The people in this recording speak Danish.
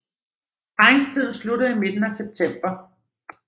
Parringstiden slutter i midten af september